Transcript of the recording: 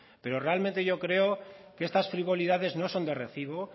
pero realmente yo creo que estas frivolidades no son de recibo